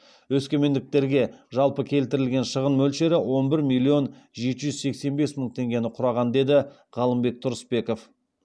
өскемендіктерге жалпы келтірілген шығын мөлшері он бір миллион жеті жүз сексен бес мың теңгені құраған деді ғалымбек тұрысбеков